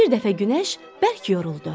Bir dəfə günəş bərk yoruldu.